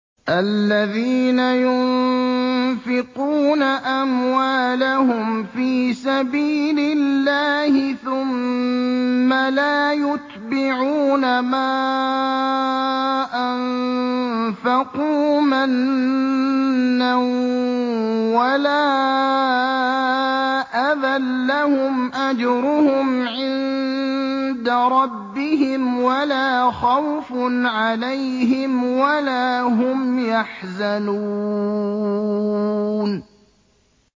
الَّذِينَ يُنفِقُونَ أَمْوَالَهُمْ فِي سَبِيلِ اللَّهِ ثُمَّ لَا يُتْبِعُونَ مَا أَنفَقُوا مَنًّا وَلَا أَذًى ۙ لَّهُمْ أَجْرُهُمْ عِندَ رَبِّهِمْ وَلَا خَوْفٌ عَلَيْهِمْ وَلَا هُمْ يَحْزَنُونَ